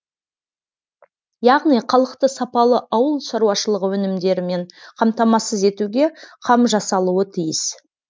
яғни халықты сапалы ауыл шаруашылығы өнімдерімен қамтамасыз етуге қам жасалуы тиіс